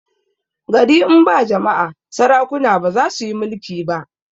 gari in ba jama'a sarakuna bazasuyi mulki ba